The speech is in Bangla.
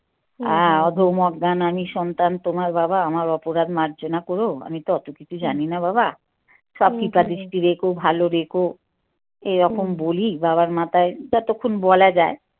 আহ অধম অজ্ঞান আমি সন্তান তোমার বাবা আমার অপরাধ মার্জনা কর আমি তো অত কিছু জানি না বাবা সব রেখো ভালো রেখো এ রকম বলি বাবার মাথায় যতক্ষন বলা যায়।